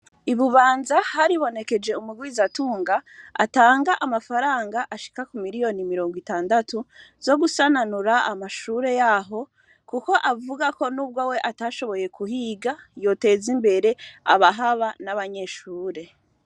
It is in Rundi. Ibubanza haribonekeje umugwizatunga atanga amafaranga ashika ku miliyoni mirongo itandatu zo gusananura amashure yaho, kuko avuga ko n'ubwo we atashoboye kuhiga yoteza imbere abahaba n'abanyeshure.